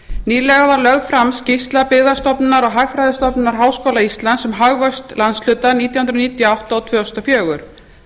nýlega var lögð fram skýrsla byggðastofnunar og hagfræðistofnunar háskóla íslands um hagvöxt landshluta nítján hundruð níutíu og átta og tvö þúsund og fjögur